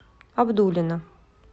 абдулино